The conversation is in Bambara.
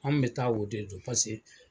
An bɛ taa la de don paseke